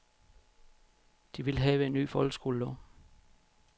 De vil have en ny folkeskolelov.